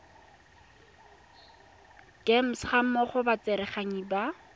gems gammogo le batsereganyi ba